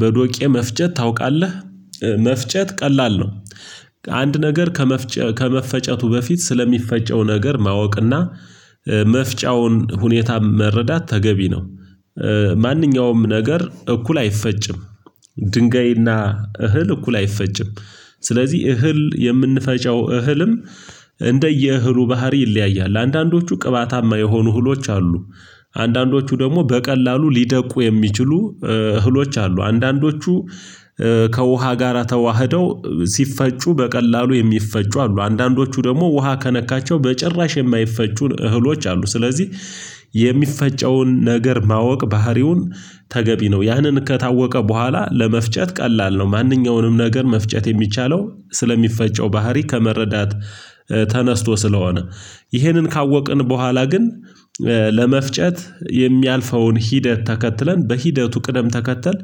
በዶቄ መፍጨት ታውቃለህ መፍጨት ቀላል ነው። አንድ ነገር ከመፍጨት ከመፍጨቱ በፊት ስለሚፈጨው ነገር ማወቅና መፍጫውን ሁኔታ መረዳት ተገቢ ነው። ማንኛውም ነገር እኩል አይፈጭም። ድንጋይና እህል እኩል አይፈጭም። ስለዚህ እህል የምንፈጫው እህልም እንደየእህሉ ባህሪ ይለያያል አንዳንዶቹ ቅባታማ የሆኑ እህሎች አሉ። አንዳንዶቹ ደግሞ በቀላሉ ሊደቁ የሚችሉ እህሎች አሉ። አንዳንዶቹ ከውሃ ጋራ ተዋህደው ሲፈጩ በቀላሉ የሚፈጩ አሉ አንዳንዶቹ ደግሞ ውሃ ከነካቸው በጭራሽ የማይፈጩ እህሎች አሉ። ስለዚህ የሚፈጨውን ነገር ማወቅ ባህሪውን ተገቢ ነው ያንን ከታወቀ በኋላ ለመፍጨት ቀላል ነው። ማንኛውንም ነገር መፍጨት የሚቻለው ስለሚፈጨው ባህሪ ከመረዳት ተነስቶ ስለሆነ። ይህንን ካወቅን በኋላ ግን ለመፍጨት የሚያልፈውን ሂደት ተከትለን በሂደቱ ቅደም ተከተል